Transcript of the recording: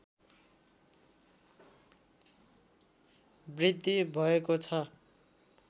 वृद्धि भएको छ